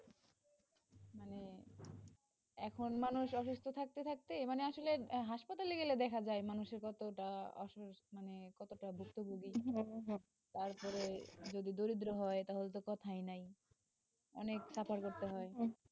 এখন মানুষ অসুস্থ থাকতে থাকতে মানে আসলে হাসপাতালে গেলে দেখা যায়, মানুষের এতটা অসুখ মানে, কতটা গুরুত্বপুর্ণ মানে তারপরে যদি দরিদ্র হয় তাহলে তো কথাই নাই অনেক suffer করতে হয়,